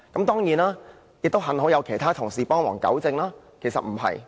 當然，幸好有其他同事幫忙糾正，其實並不是這樣的。